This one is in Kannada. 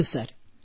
ಹೌದು ಸರ್